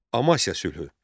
Amasiya sülhü.